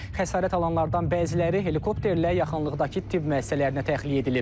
Xəsarət alanlardan bəziləri helikopterlə yaxınlıqdakı tibb müəssisələrinə təxliyə edilib.